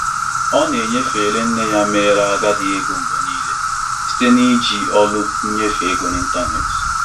Di na nwunye ahụ nyefere ego ndị ahụ na mba ụwa, na-ekpuchi ụgwọ obibi ndị um mụrụ ha n'enweghị nsogbu ọ bụla.